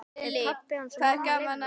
Ef pabbi hans og mamma leyfðu.